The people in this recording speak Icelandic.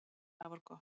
Sem er afar gott